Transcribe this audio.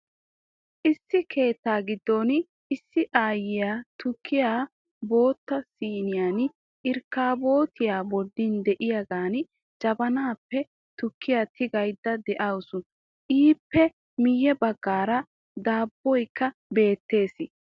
Issi keettaa giddon issi aayiya tukkiya bootta siinee " irkkaabootiya" bolli de'iyagan jabanaappe tukkiya tigayda de'awusu. Ippe miyye baggaara dabboykka beettees.